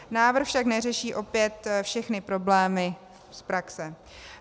Návrh však neřeší opět všechny problémy z praxe.